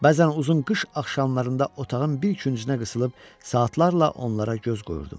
Bəzən uzun qış axşamlarında otağın bir küncünə qısılıb, saatlarla onlara göz qoyurdum.